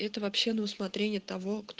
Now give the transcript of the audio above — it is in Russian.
это вообще на усмотрение того кто